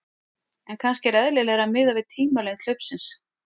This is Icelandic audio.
En kannski er eðlilegra að miða við tímalengd hlaupsins.